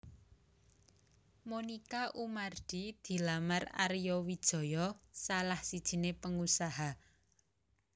Monica Oemardi dilamar Arya Wijaya salah sijiné pengusaha